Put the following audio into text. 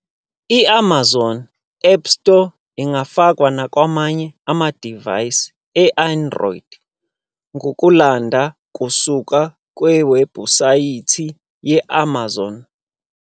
I-Amazon Appstore ingafakwa nakwamanye amadivaysi e-Android ngokulanda kusuka kuwebhusayithi ye-Amazon.